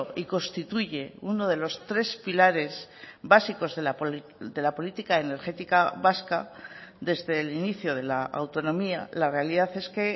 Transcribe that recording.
y constituye uno de los tres pilares básicos de la política energética vasca desde el inicio de la autonomía la realidad es que